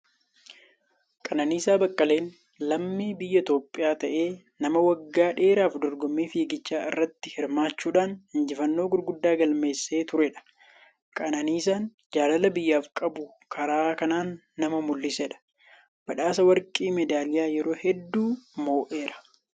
Qananiisaa Baqqaleen lammii Biyya Itoophiyaa ta'ee, nama waggoota dheeraaf dorgommii fiiggichaa irratti hirmaachuudhaan injifannoo gurguddaa galmeessisaa turedha. Qananiisaan jaalala biyyaaf qabu karaa kanaan nama mul'isedha. Badhaasa warqii meedaalaa yerooo hedduu moo'eera!